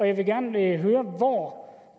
jeg vil gerne høre hvor